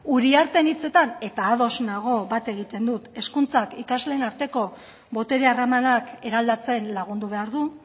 uriarteren hitzetan eta ados nago bat egiten dut hezkuntzak ikasleen arteko botere harremanak eraldatzen lagundu behar du